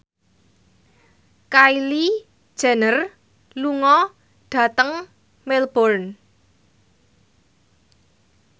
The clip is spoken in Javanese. Kylie Jenner lunga dhateng Melbourne